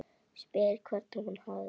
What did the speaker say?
Spyr hvernig hún hafi það.